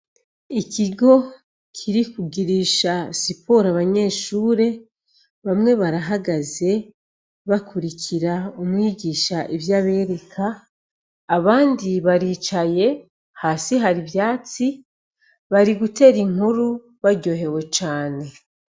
Ikigo kiri kugirisha siporo abanyeshure, abanyeshure bamwe barahagaze bakurikira umwigisha ivyo abereka, abandi baricaye hasi hari ivyatsi bari gutera inkuru baryohewe cane.